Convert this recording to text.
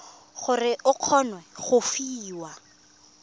gore o kgone go fiwa